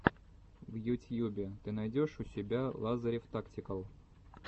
в ютьюбе ты найдешь у себя лазарев тактикал